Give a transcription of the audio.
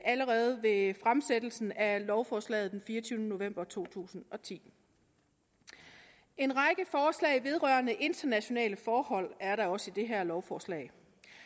allerede ved fremsættelsen af lovforslaget den fireogtyvende november to tusind og ti en række forslag vedrørende internationale forhold er der også i det her lovforslag